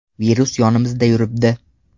Virus yonimizda yuribdi.